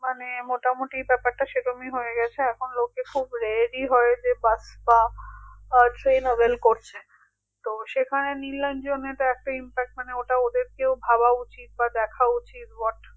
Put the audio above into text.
বর্তমানে মোটামুটি ব্যাপারটা সেরমই হয়ে গেছে এখন লোকে খুব ready হয়ে যে কাজটা আহ tenable করছে তো সেখানে নিলর্জনে তো একটা impact মানে ওটা ওদেরকেও ভাবা উচিত বা দেখা উচিত